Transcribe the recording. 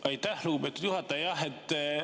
Aitäh, lugupeetud juhataja!